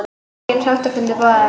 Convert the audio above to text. Engir sáttafundir boðaðir